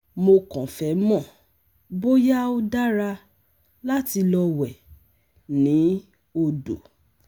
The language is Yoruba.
Mo kàn fẹ́ mọ̀ bóyá ó dára láti lọ wẹ̀ ni odo